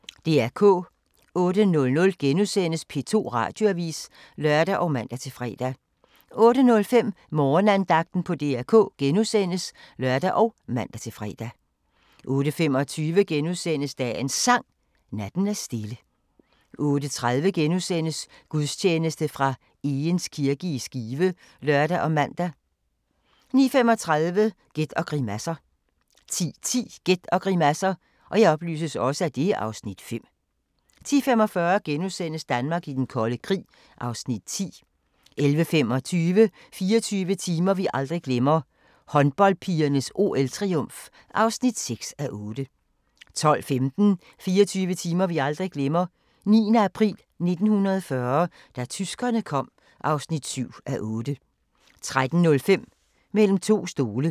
08:00: P2 Radioavis *(lør og man-fre) 08:05: Morgenandagten på DR K *(lør og man-fre) 08:25: Dagens Sang: Natten er stille * 08:30: Gudstjeneste fra Egeris kirke i Skive *(lør og man) 09:35: Gæt og grimasser 10:10: Gæt og grimasser (Afs. 5) 10:45: Danmark i den kolde krig (Afs. 10)* 11:25: 24 timer vi aldrig glemmer: Håndboldpigernes OL-triumf (6:8) 12:15: 24 timer vi aldrig glemmer: 9. april 1940 – da tyskerne kom (7:8) 13:05: Mellem to stole